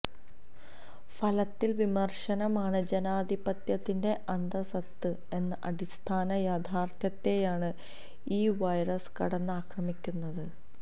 ഫലത്തിൽ വിമർശനമാണ് ജനാധിപത്യത്തിന്റെ അന്തഃസത്ത എന്ന അടിസ്ഥാന യാഥാർത്ഥ്യത്തെയാണ് ഈ വൈറസ് കടന്നാക്രമിക്കുന്നത്